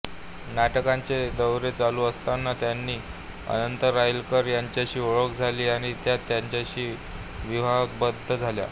नाटकाचे दौरे चालू असताना त्यांची अनंत राईलकर यांच्याशी ओळख झाली आणि त्या त्यांच्याशी विवाहबद्ध झाल्या